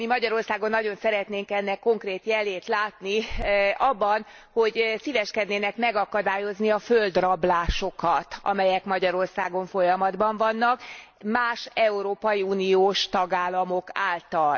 Mi Magyarországon nagyon szeretnénk ennek konkrét jelét látni abban, hogy szíveskednének megakadályozni a földrablásokat, amelyek Magyarországon folyamatban vannak más európai uniós tagállamok által.